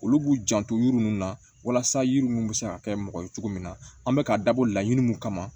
Olu b'u janto yiri ninnu na walasa yiri mun bɛ se ka kɛ mɔgɔ ye cogo min na an bɛ k'a dabɔ laɲini kama